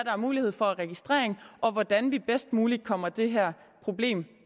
er mulighed for af registrering og hvordan vi bedst muligt kommer det her problem